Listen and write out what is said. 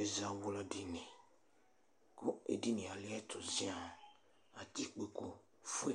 Ɛzawla dini, kʋ edinie aliɛtʋ zian kʋ atɛ ikpokʋfue,